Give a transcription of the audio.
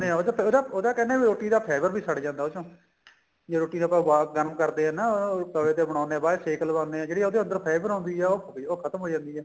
ਉਹਦਾ ਉਹ ਤਾਂ ਕਹਿਨੇ ਏ ਵੀ ਰੋਟੀ ਦਾ flavor ਵੀ ਛੱਡ ਜਾਂਦਾ ਉਸ ਚੋ ਜਦ ਰੋਟੀ ਆਪਾਂ ਉਬਾਲ ਗਰਮ ਕਰਦੇ ਆ ਨਾ ਤਵੇ ਤੇ ਬਣਾਉਣੇ ਆ ਬਾਅਦ ਚ ਸੇਕ ਲਗਾਉਂਦੇ ਆ ਜਿਹੜੀ ਆਪਣੇ ਅੰਦਰ fat ਬਣਾਉਂਦੀ ਏ ਉਹ ਖਤਮ ਹੋ ਜਾਂਦੀ ਏ